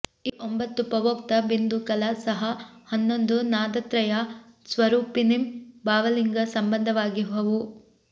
ಈ ಒಂಭತ್ತು ಪೂವೋಕ್ತ ಬಿಂದು ಕಲಾ ಸಹ ಹನ್ನೊಂದು ನಾದತ್ರಯ ಸ್ವರೂಪಿನಿಂ ಭಾವಲಿಂಗ ಸಂಬಂಧವಾಗಿಹವು